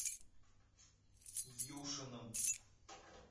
юшиным